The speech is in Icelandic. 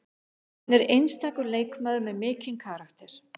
Hún er einstakur leikmaður með mikinn karakter